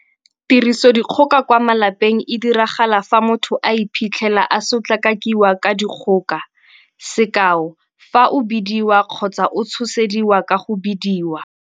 Tirisodikgoka kwa malapeng e diragala fa motho a iphitlhela, a sotlakakiwa ka dikgoka - sekao fa o bidiwa kgotsa o tshosediwa ka go bidiwa.